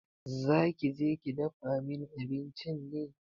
Za ki je ki dafa min abinci ne?